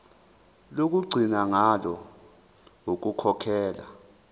lokugcina ngalo ukukhokhela